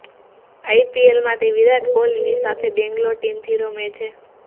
આઈપીએલમાં તે વિરાટ કોહલીની સાથે બેંગ્લોર ટીમથી રમે છે